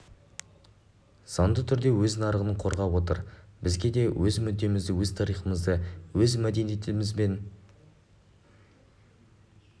заңды түрде өз нарығын қорғап отыр бізге де өз мүддемізді өз тарихымызды өз мәдениетіміз бен